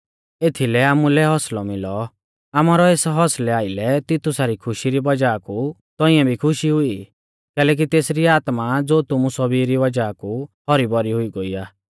एथीलै आमुलै हौसलौ मिलौ आमारौ एस हौसलै आइलै तितुसा री खुशी री वज़ाह कु तौंइऐ भी खुशी हुई कैलैकि तेसरी आत्मा ज़ो तुमु सौभी री वज़ाह कु हौरी भौरी हुई गोइ आ